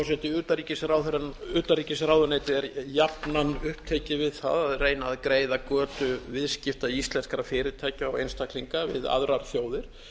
herra forseti utanríkisráðuneytið er jafnan upptekið við það að reyna að greiða götu viðskipta íslenskra fyrirtækja og einstaklinga við aðrar þjóðir